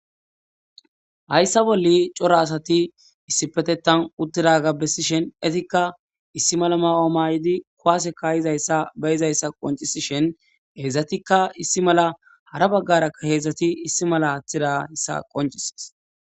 Hayssa bolle cora asati issipetetan uttida gabbesishen etikka issi mala ma'ooma yiidi kowase kayizayssa beyizayssa qoncisishen heedzdzatikka issi mala hara baggarakka heedzdzati issi mala haaththidassa qoncises.